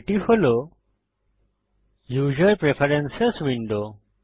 এটি হল user preferences window